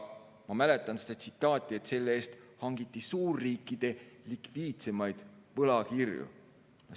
Ma mäletan, et selle eest hangiti suurriikide likviidsemaid võlakirju.